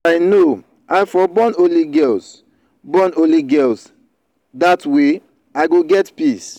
if i know i for born only girls born only girls dat way i go get peace